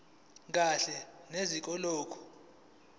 kahle neze kulokho